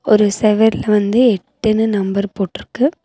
ஒரு செவுர்ல வந்து எட்டுனு நம்பர் போட்ருக்கு.